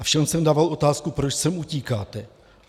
A všem jsem dával otázku - proč sem utíkáte.